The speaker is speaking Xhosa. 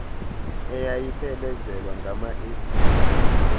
eyayiphelezelwa ngama esile